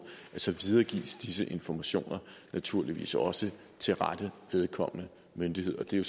videregives disse informationer naturligvis også til rette myndighed og det